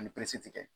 Ani